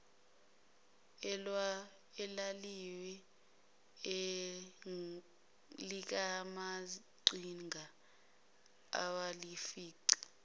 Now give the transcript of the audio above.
elawini likamaqhinga abalifica